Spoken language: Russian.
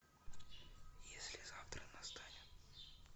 если завтра настанет